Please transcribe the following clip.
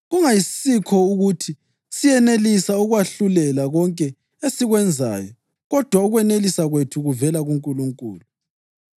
Kungayisikho ukuthi siyenelisa ukwahlulela konke esikwenzayo kodwa ukwenelisa kwethu kuvela kuNkulunkulu.